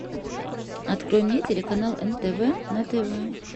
открой мне телеканал нтв на тв